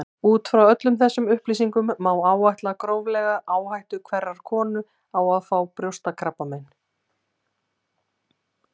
Út frá öllum þessum upplýsingum má áætla gróflega áhættu hverrar konu á að fá brjóstakrabbamein.